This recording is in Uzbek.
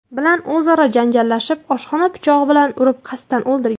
bilan o‘zaro janjallashib, oshxona pichog‘i bilan urib, qasddan o‘ldirgan.